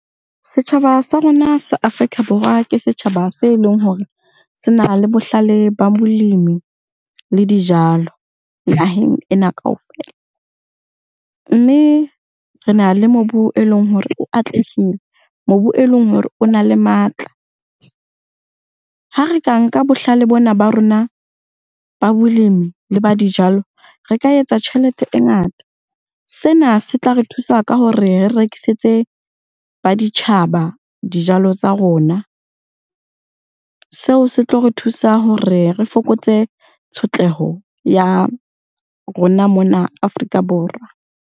Setjhaba sa rona sa Afrika Borwa ke setjhaba se leng hore sena le bohlale ba molemi le dijalo, naheng ena kaofela. Mme rena le mobu e leng hore o atlehile, mobu e leng hore o na le matla. Ha re ka nka bohlale bona ba rona ba bolemi le ba dijalo, re ka etsa tjhelete e ngata. Sena se tla re thusa ka hore re rekisetse ba ditjhaba dijalo tsa rona. Seo se tlo re thusa hore re fokotse tshotleho ya rona mona Afrika Borwa.